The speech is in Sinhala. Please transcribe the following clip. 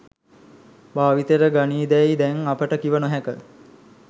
භාවිතයට ගනීදැයි දැන් අපට කිව නොහැක.